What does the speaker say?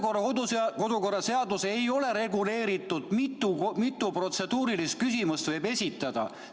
Kodu- ja töökorra seaduses ei ole reguleeritud, mitu protseduurilist küsimust võib esitada.